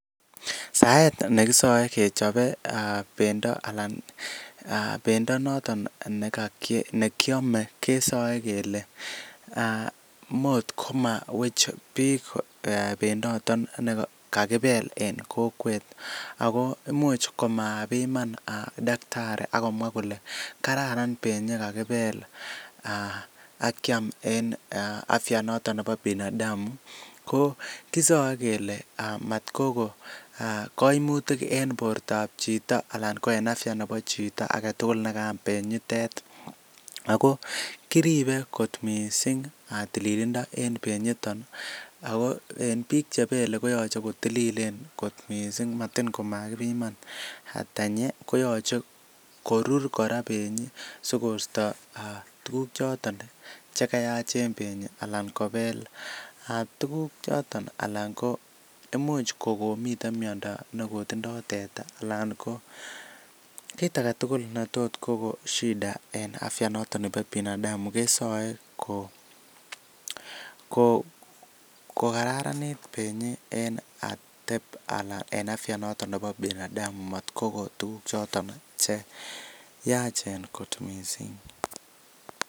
Saet nekisoe kechope pendo anan pendo noton nekiome kesoe kele mot komowech biik benyoton nekakibel en kokwet, ako imuch komabiman daktari akomwa kole kararan benyi kakibel akyam en afya noton nebo binadamu, ko kisoe kele matkogo kaimutik en bortab chito anan ko en afya nebo chito agetugul nekaham benyitet, ako kiribe kot missing tililindo en benyiton ako en biik chebele koyoche kotililen kot missing matin komagibiman tenyi koyoche korur kora benyi sikosto tuguk choton chegayach en benyi anan kobeel tuguk choton anan ko imuch kogomiten miondo nekotindo teta alan ko kiit agetugul netot kogon shida en afya noton nebo binadamu kesoe kokararanit benyi en ateep alan en afya noton nebo binadamu, motkogo tuguk choton cheyachen kot missing.